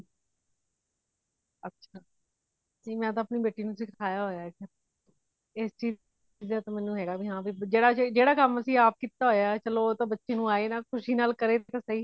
ਅੱਛਾ , ਜੀ ਮੈ ਤਾ ਅਪਣੀ ਬੇਟੀ ਨੂੰ ਸਿਖਾਯਾ ਹੋਇਆ ਜੀ , ਇਸ ਚ ਕੁੜੀਆਂ ਦਾ ਮੇਨੂ ਹੇਗਾ ਜੇਦਾ ਕਾਮ ਅਸੀਂ ਆਪ ਕਕੀਤਾ ਹੋਇਆ ਹੇ ,ਚਲੋ ਉਹ ਤੇ ਬੱਚੇ ਨੂੰ ਆਏ ਨਾ ਖੁਸ਼ੀ ਨਾਲ ਕਰੇ ਤੇ ਸਹੀ